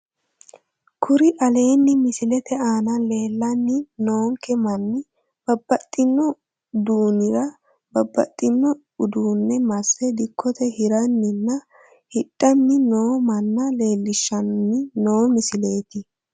Kuri aleenni misilete aana leellanni noonke manni babbaxxino duunira babbaxxino uduunne masse dikkote hiranninna hidhanni noo manna leellishshanni noo misileeti